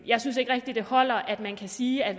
jeg synes ikke rigtigt det holder at sige at